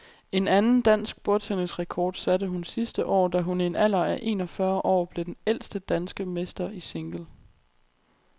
En anden dansk bordtennisrekord satte hun sidste år, da hun i en alder af en og fyrre år blev den ældste danske mester i single.